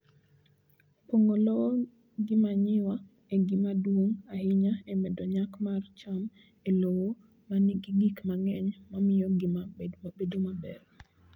Pong'o lowo gi manyiwa en gima duong' ahinya e medo nyak mar cham e lowo ma nigi gik mang'eny mamiyo ngima bedo maber.